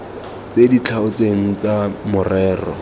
tse di tlhaotsweng tsa morero